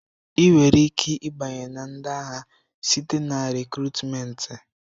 Ị nwere ike ịbanye na ndị agha site na rịkrutmenti.